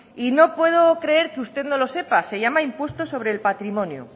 y no puedo creer que usted no lo sepa se llama impuesto sobre el patrimonio